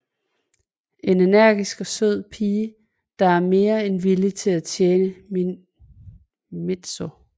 En energisk og sød pige der er mere end villig til at tjene Mizuho